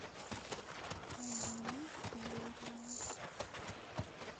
алину юрину